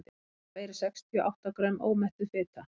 þar af eru sextíu og átta grömm ómettuð fita